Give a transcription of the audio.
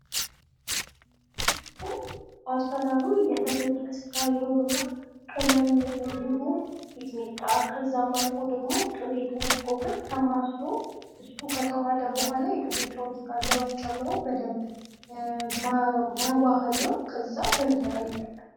ክትፎ አሰራሩ የተፈጨ ስጋ ይኖርና ቅመም እንዲሁም ሚጥሚጣ ከዚያም አልፎ ደግሞ ቅቤ ተደርጎበት ተማስሎ ከተዋሀደ በኋላ የተፈጨዉን ስጋ እዚያ ዉስጥ ጨምሮ በደንብ ማዋሀድ ነዉ። ከዚያ በእንጀራ ይበላል።